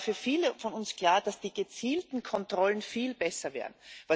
Es war für viele von uns klar, dass gezielte Kontrollen viel besser wären.